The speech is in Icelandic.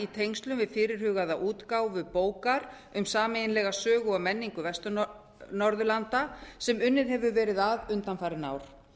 tengslum við fyrirhugaða útgáfu bókar um sameiginlega sögu og menningu vestur norðurlanda sem unnið hefur verið að undanfarin ár